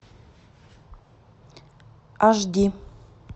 аш ди